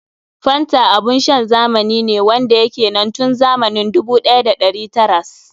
Fanta abun shan zamani ne wanda ya ke nan tun zamani 1900s.